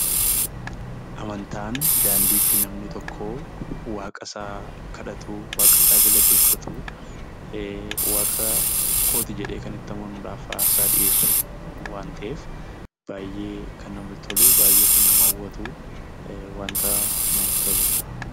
Amantaan daandii itti namni tokko waaqa isaa kadhatu, waaqa isaa galateeffatu, "waaqa kooti" jedhee kan itti amanuudhaaf aarsaa dhiyeessu waan ta'eef baay'ee kan namatti tolu, baay'ee kan nama hawwatu, wanta namatti toluudha.